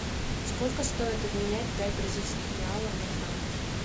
сколько стоит обменять пять бразильских реалов на франки